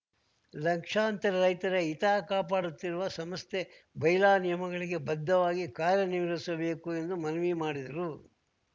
ಲಕ್ಷಾಂತರ ರೈತರ ಹಿತ ಕಾಪಾಡುತ್ತಿರುವ ಸಂಸ್ಥೆ ಬೈಲಾ ನಿಯಮಗಳಿಗೆ ಬದ್ಧವಾಗಿ ಕಾರ್ಯ ನಿರ್ವಹಿಸಬೇಕು ಎಂದು ಮನವಿ ಮಾಡಿದ್ರು